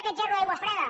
aquest gerro d’aigua freda